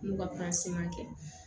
N'u ka kɛ